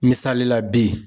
Misali la bi.